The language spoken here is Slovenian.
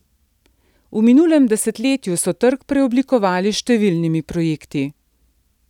V minulem desetletju so trg preoblikovali s številnimi projekti.